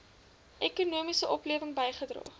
ekonomiese oplewing bygedra